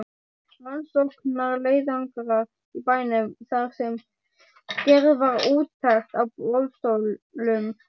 Rannsóknarleiðangrar í bænum þar sem gerð var úttekt á boðstólum.